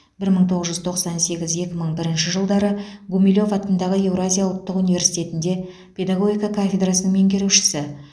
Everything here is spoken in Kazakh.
бір мың тоғыз жүз тоқсан сегіз екі мың бірінші жылдары гумилев атындағы еуразия ұлттық университетінде педагогика кафедрасының меңгерушісі